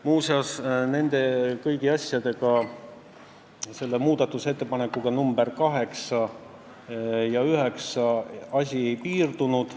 Muuseas, muudatusettepanekutega nr 8 ja 9 see asi ei piirdunud.